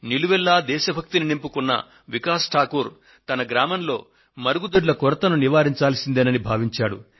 నిలువెల్లా దేశభక్తిని నింపుకున్న శ్రీ వికాస్ ఠాకూర్ తన గ్రామంలో మరుగుదొడ్ల కొరతను నివారించాల్సిందేనని భావించాడు